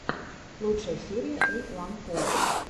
лучшая серия эйуанкул